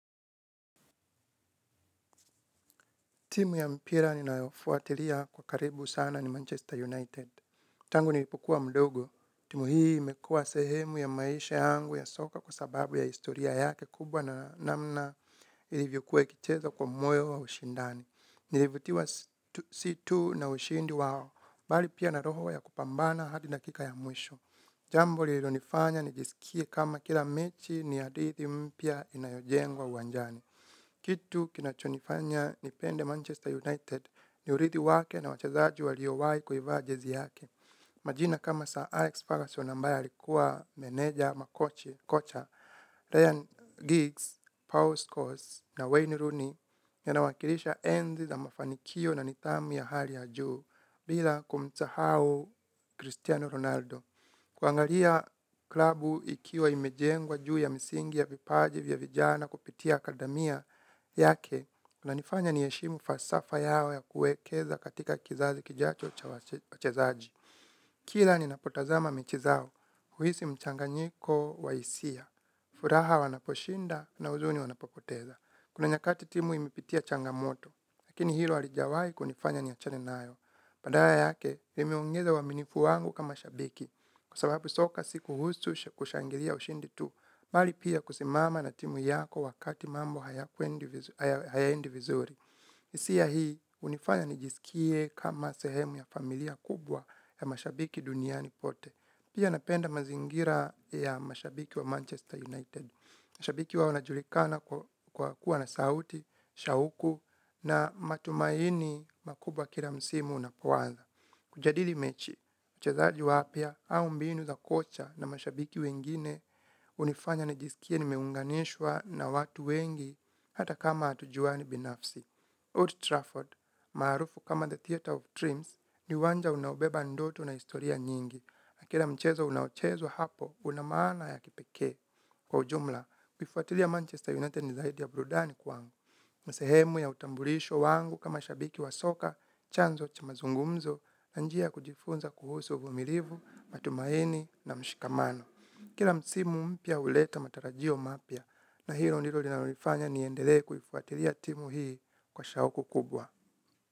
Timu ya mpira ninaofuatiria kwa karibu sana ni Manchester United. Tangu nilipokua mdogo. Timu hii imekua sehemu ya maisha yangu ya soka kwa sababu ya historia yake kubwa na namna ilivyokua ikicheza kwa moyo wa ushindani. Nilivutiwa situ na ushindi wao. Bali pia na roho ya kupambana hadi dakika ya mwisho. Jambo lilo nifanya nijisikie kama kila mechi ni hadithi mpia inayojengwa uwanjani. Kitu kinachonifanya ni pende Manchester United ni urithi wake na wachazaji waliowai kuivaa jezi yake. Majina kama Sir Alex Ferguson ambaye alikua meneja ama kocha, Ryan Giggs, Paul Scorses na Wayne Rooney nina wakilisha enzi za mafanikio na nitamu ya hali ya juu bila kumsahau Cristiano Ronaldo. Kuangalia klabu ikiwa imejengwa juu ya misingi ya vipaji vya vijana kupitia akadamia yake inanifanya niyeshimu fasafa yao ya kuekeza katika kizazi kijacho cha wachezaji. Kila ninapotazama mechi zao, huisi mchanganyiko wa isia, furaha wanaposhinda na uzuni wanapopoteza. Kuna nyakati timu imepitia changamoto, lakini hilo alijawai kunifanya niachane nayo. Padala yake, nimeongeza waminifu wangu kama shabiki, kua sababu soka sikuhusu kushangilia ushindi tu. Bali pia kusimama na timu yako wakati mambo haya endi vizuri. Isia hii, unifanya nijisikie kama sehemu ya familia kubwa ya mashabiki duniani pote. Pia napenda mazingira ya mashabiki wa Manchester United. Mashabiki wao najulikana kwa kuwa na sauti, shauku na matumaini makubwa kila msimu unapowanza. Kujadili mechi, mchezaji wapia hau mbinu za kocha na mashabiki wengine unifanya nijisikie nimeunganishwa na watu wengi hata kama atujuani binafsi. Old Trafford, marufu kama The Theatre of Dreams, ni uwanja unaobeba ndoto na historia nyingi. Na kila mchezo unaochezwa hapo, unamana ya kipeke. Kwa ujumla, kufuatilia Manchester United ni zaidi ya burudani kwangu. Sehemu ya utambulisho wangu kama shabiki wasoka, chanzo cha mazungumzo, na njia kujifunza kuhusu uvumilivu, matumaini na mshikamano. Kila msimu mpia uleta matarajio mapia, na hilo ndilo linalofanya ni endele kufuatilia timu hii kwa shauku kubwa.